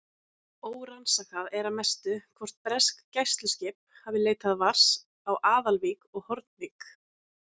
Órannsakað er að mestu, hvort bresk gæsluskip hafi leitað vars á Aðalvík og Hornvík.